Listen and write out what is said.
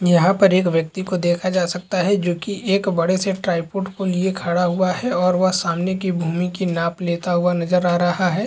यहाँ पर एक व्यक्ति को देखा जा सकता है जोकि एक बड़े- से ट्राईपोड को लिए खड़ा हुआ है और वह सामने की भूमि की नाप लेता हुआ नज़र आ रहा हैं ।